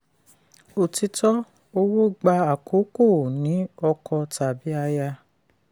òtítọ́: owó gbà àkókò ó ní ọkọ tàbí aya?